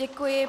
Děkuji.